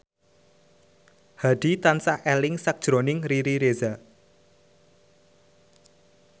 Hadi tansah eling sakjroning Riri Reza